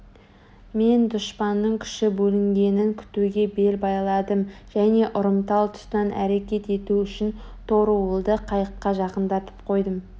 мен дұшпанның күші бөлінгенін күтуге бел байладым және ұрымтал тұстан әрекет ету үшін торуылды қайыққа жақындатып қойдым